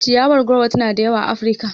Ciyawar goro tana da yawa a Afirika.